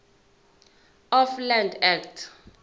of land act